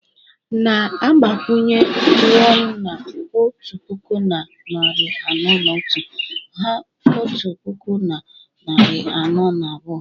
Na-agbakwụnye 0ne na otu puku na narị anọ na otu, hà otu puku na narị anọ na abụọ